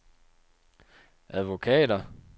advokater